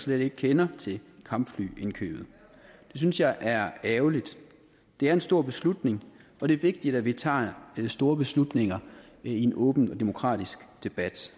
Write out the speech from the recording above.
slet ikke kender til kampflyindkøbet det synes jeg er ærgerligt det er en stor beslutning og det er vigtigt at vi tager store beslutninger i en åben og demokratisk debat